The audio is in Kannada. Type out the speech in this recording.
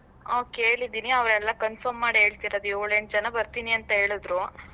ಹಾ ಕೇಳಿದೀನಿ, ಅವರೆಲ್ಲ confirm ಮಾಡಿ ಹೇಳ್ತಿರೋದು ಯೋಳ್ ಎಂಟ್ ಜನ ಬರ್ತೀನಿ ಅಂತ ಹೇಳುದ್ರು.